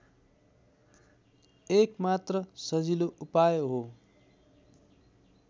एकमात्र सजिलो उपाय हो